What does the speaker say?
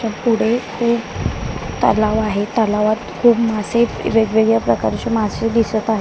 त्या पुढे खूप तलाव आहे तलावात खूप मासे वेगवेगळ्या प्रकारची मासे दिसत आहेत.